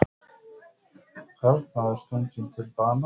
Karlmaður stunginn til bana